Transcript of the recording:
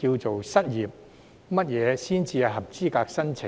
怎樣才合資格申請？